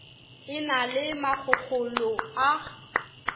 e na le makgokgolo a